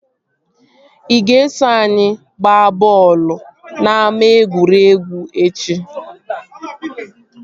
Ị ga-eso anyị ihe gbaa bọọlụ na ama egwuregwu echi?